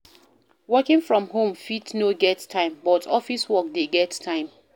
Working from home fit no get time but office work de get time